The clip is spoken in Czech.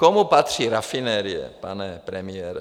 Komu patří rafinerie, pane premiére?